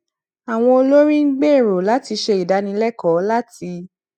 àwọn olórí ń gbèrò láti ṣe ìdánilẹkọọ láti